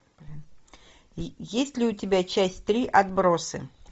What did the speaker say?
есть ли у тебя часть три отбросы